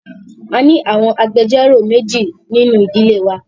A ni awọn agbẹjọro meji ninu idile wa